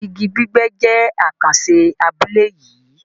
Ìgí gbígbẹ́ jẹ̀ àkànṣé abúlé yìí